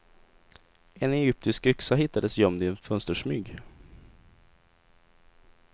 En egyptisk yxa hittades gömd i en fönstersmyg.